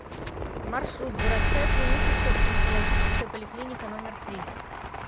маршрут городская клиническая стоматологическая поликлиника номер три